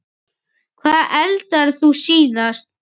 Hvað eldaðir þú síðast?